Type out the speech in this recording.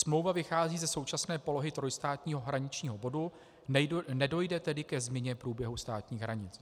Smlouva vychází ze současné polohy trojstátního hraničního bodu, nedojde tedy ke změně průběhu státních hranic.